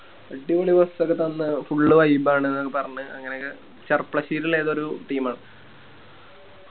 അടിപൊളി Bus ഒക്കെ തന്ന് Full vibe അന്ന് ന്നൊക്കെ പറഞ്ഞ് അങ്ങനൊക്കെ ചെരപ്പളശ്ശേരില്ലേ ഏതോ ഒരു Team